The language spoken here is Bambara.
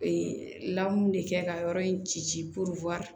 Ee lamu de kɛ ka yɔrɔ in ci ci ci